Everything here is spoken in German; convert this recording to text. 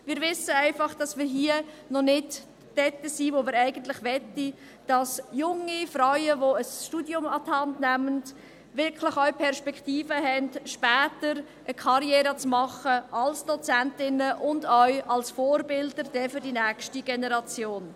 Wir wissen einfach, dass wir noch nicht da sind, wo wir sein möchten: Dass junge Frauen, die ein Studium an die Hand nehmen, wirklich auch Perspektiven haben, später eine Karriere zu machen als Dozentinnen und auch als Vorbilder für die nächste Generation.